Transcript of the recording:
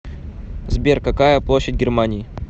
сбер какая площадь германии